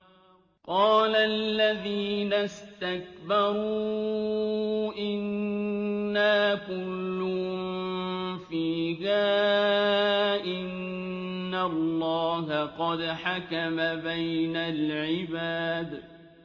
قَالَ الَّذِينَ اسْتَكْبَرُوا إِنَّا كُلٌّ فِيهَا إِنَّ اللَّهَ قَدْ حَكَمَ بَيْنَ الْعِبَادِ